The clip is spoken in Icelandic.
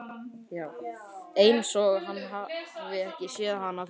Einsog hann hafi ekki séð hana fyrr.